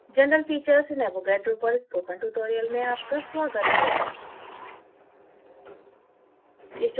general features in avogadro पर spoken tutorial में आपका स्वागत है